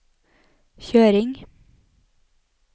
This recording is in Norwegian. kjøring